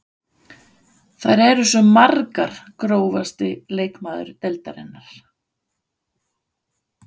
Þær eru svo margar Grófasti leikmaður deildarinnar?